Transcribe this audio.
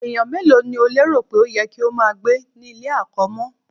Ènìyàn mélòó ni o lérò pé ó yẹ kí ó máa gbé ní ilé-àkọ́mọ́?